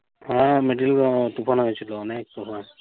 হ্যাঁ, ও তুফান হয়েছিলো। অনেক তুফান।